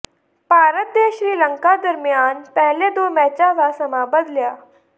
ਭਾਰਤ ਦੇ ਸ਼੍ਰੀਲੰਕਾ ਦਰਮਿਆਨ ਪਹਿਲੇ ਦੋ ਮੈਚਾਂ ਦਾ ਸਮਾਂ ਬਦਲਿਆ